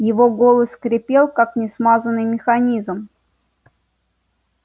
его голос скрипел как несмазанный механизм